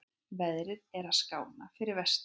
Veðrið að skána fyrir vestan